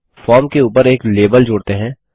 अब फॉर्म के ऊपर एक लेबल जोड़ते हैं